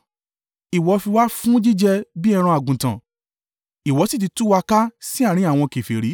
Ìwọ fi wá fún jíjẹ bí ẹran àgùntàn, Ìwọ sì ti tú wa ká sí àárín àwọn kèfèrí.